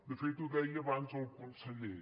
de fet ho deia abans el conseller